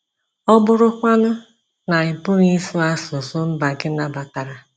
Ọ bụrụkwanụ na ị pụghị ịsụ asụsụ mba gị nabatara?